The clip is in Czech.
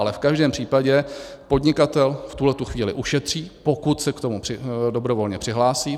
Ale v každém případě podnikatel v tuhletu chvíli ušetří, pokud se k tomu dobrovolně přihlásí.